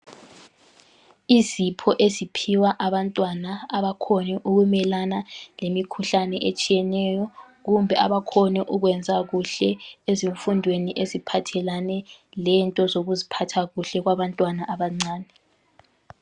Izipho eziphiwa abantwana abakhone ukumelana lemikhuhlane etshiyeneyo kumbe abakhone ukwenza kuhle ezifundweni eziphathelane lento zokuziphatha kuhle kwabantwana abancane.